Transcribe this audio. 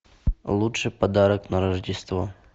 лучший подарок на рождество